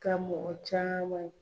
Ka mɔgɔ caman